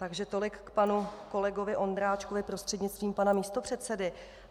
Takže tolik k panu kolegovi Ondráčkovi, prostřednictvím pana místopředsedy.